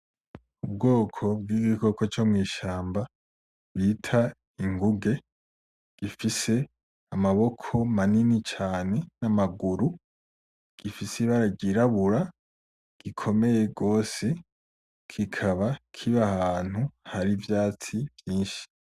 Ubwoko bwigikoko co mwishamba bita inguge gifise amaboko manini cane namaguru gifise ibara ryirabura gikomeye gose kikaba kiba ahantu hari ivyatsi vyinshi